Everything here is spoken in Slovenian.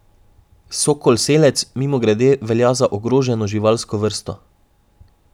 Sokol selec, mimogrede, velja za ogroženo živalsko vrsto.